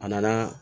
A nana